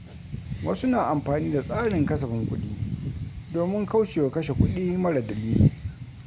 Wasu na amfani da tsarin kasafin kuɗi domin kaucewa kashe kuɗi mara dalili.